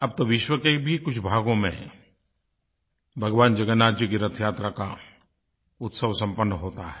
अब तो विश्व के भी कुछ भागों में भगवान जगन्नाथ जी की रथयात्रा का उत्सव सम्पन्न होता है